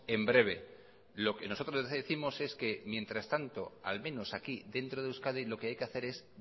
en breve lo que nosotros décimos es que mientras tanto al menos aquí dentro de euskadi lo que hay que hacer es